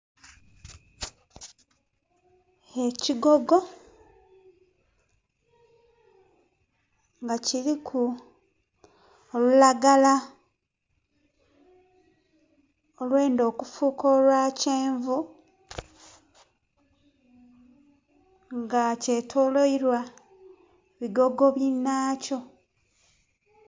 Ekigogo nga kiriku olulagala olwendha okufuuka olwa kyenvu nga kyetoloilwa bigogo binhakyo.